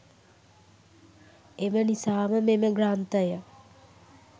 එම නිසාම මෙම ග්‍රන්ථය